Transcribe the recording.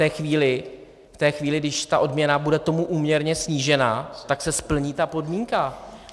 A v té chvíli, když ta odměna bude tomu úměrně snížena, tak se splní ta podmínka.